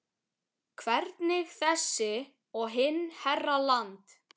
Hvernig þessi og hinn herra Land